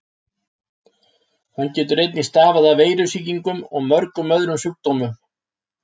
Hann getur einnig stafað af veirusýkingum og mörgum öðrum sjúkdómum.